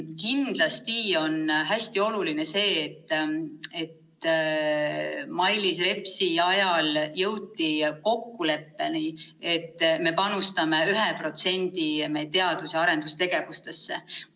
Kindlasti on hästi oluline see, et Mailis Repsi ajal jõuti kokkuleppeni, et me panustame 1% teadus- ja arendustegevusse.